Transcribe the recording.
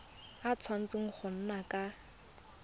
a tshwanetse go nna ka